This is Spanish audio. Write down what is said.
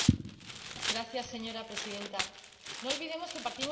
Señora Presidenta, no olvidemos que partimos de un fracaso.